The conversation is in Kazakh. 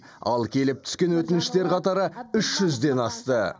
ал келіп түскен өтініштер қатары үш жүзден асты